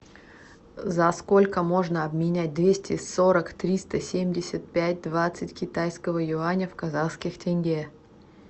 за сколько можно обменять двести сорок триста семьдесят пять двадцать китайского юаня в казахских тенге